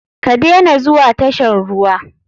Ka dena zuwa tashan ruwa.